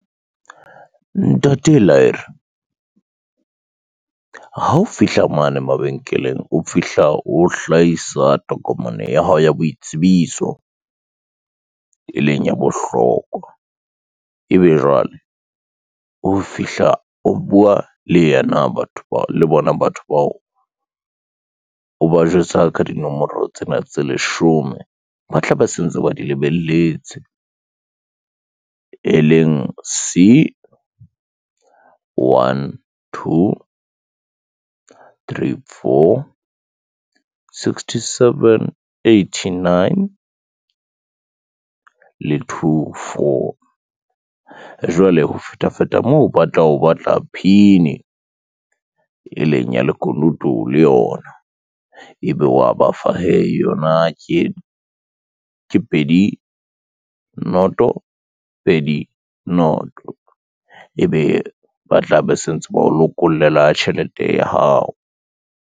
Ntate Laere, ha o fihla mane mabenkeleng o fihla o hlahisa tokomane ya hao ya boitsebiso, e leng ya bohlokwa, ebe jwale o fihla o bua le bona batho bao o ba jwetsa ka dinomoro tsena tse leshome, ba tla be se ntse ba di lebelletseng. E leng c one, two, three, four, sixtyseven, eightynine le two, four. Jwale ho feta feta moo, ba tla o batla PIN e leng ya lekunutu le yona ebe wa bafa hee yona ke pedi, noto, pedi, noto ebe ba tla be se ntse ba o lokollela tjhelete ya hao.